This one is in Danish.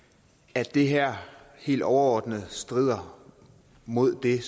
at det her helt overordnet strider mod det